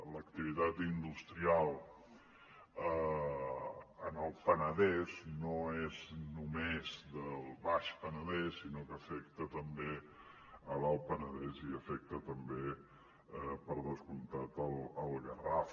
l’activitat industrial en el penedès no és només del baix penedès sinó que afecta també l’alt penedès i afecta també per descomptat el garraf